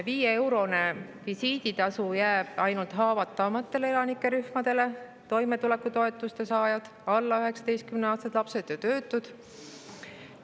Viieeurone visiiditasu jääb ainult haavatavamatele elanikerühmadele: toimetulekutoetuse saajatele, alla 19-aastastele lastele ja töötutele.